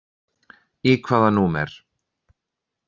Í hvaða númer?